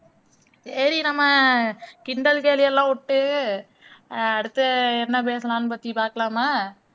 சரி நம்ம கிண்டல் கேலி எல்லாம் விட்டு அடுத்து என்ன பேசலாம்னு பத்தி பார்க்கலாமா